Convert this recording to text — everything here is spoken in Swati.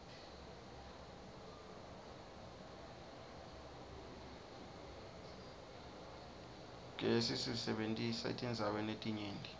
qiriqesi siseberta eiirdzaweri letinyerti